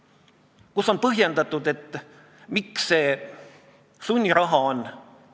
Ja minu meelest seal koolis, kuigi olid keerulised ajad, aastad 2007–2008, kõik toimis, kõik funktsioneeris.